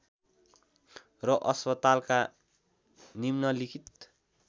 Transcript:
र अस्पतालका निम्नलिखित